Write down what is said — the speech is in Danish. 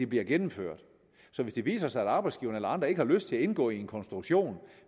bliver gennemført så hvis det viser sig at arbejdsgiverne eller andre ikke har lyst til at indgå i en konstruktion